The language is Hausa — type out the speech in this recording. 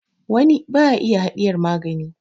wani ba ya iya hadiyar magani